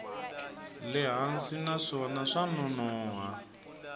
le hansi naswona swa nonoha